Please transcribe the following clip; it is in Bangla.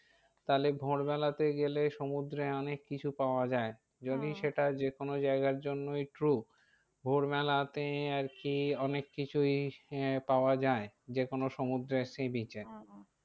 তাহলে ভোর বেলাতে গেলে সমুদ্রে অনেক কিছু পাওয়া যায় । যদি সেটা যে কোনো জায়গার জন্যই true ভোর বেলাতে আর কি অনেক কিছুই আহ পাওয়া যায়। যে কোনো সমুদ্রের sea beach এ